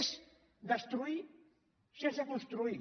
és destruir sense construir